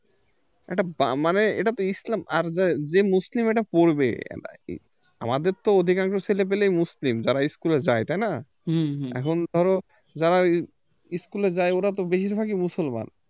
এটা মানে এটা তো ইসলাম আর যে যে মুসলিম এটা পড়বে আমাদের তো অধিকাংশ ছেলেপিলেই মুসলিম যারা school এ যায় তাই না এখন ধরো যারা school এ যায় ওরা তো বেশিরভাগই মুসলমান